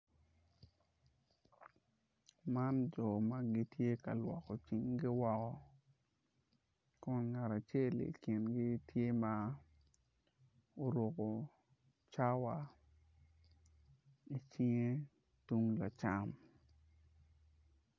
Man jo ma gitye ka lwoko cinggi woko kun ngat acel tye ma oruko cawa icinge tung lacam.